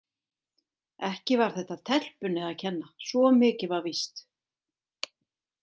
Ekki var þetta telpunni að kenna, svo mikið var víst.